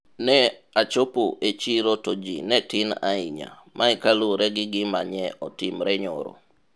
ne achopo e chiro to ji ne tin ahinya, mae kaluwore gi gima nye otimore nyoro